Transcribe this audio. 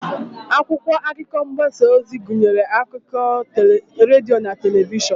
Akwụkwọ akụkọ mgbasa ozi gụnyere akụkọ redio na telivishọn.